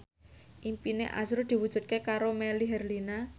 impine azrul diwujudke karo Melly Herlina